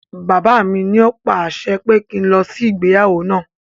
Bàbá mi ní o pa àṣẹ pé kí n lọ sí ìgbéyàwó náà.